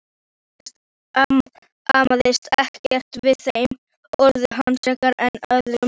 Hún amaðist ekki við þeim orðum hans frekar en öðrum.